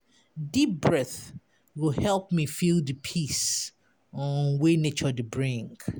Deep breath go help me feel di peace um wey nature dey bring.